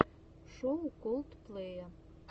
шоу колдплэя